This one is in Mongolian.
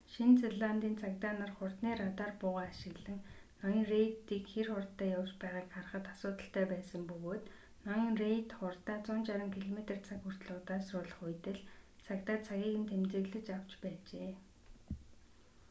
шинэ зеландын цагдаа нар хурдны радар буугаа ашиглан ноён рейдийг хэр хурдтай явж байгааг харахад асуудалтай байсан бөгөөд ноён рейд хурдаа 160 км/цаг хүртэл удаашруулах үед л цагдаа цагийг нь тэмдэглэж авч байжээ